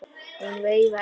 Hún veifaði til þeirra.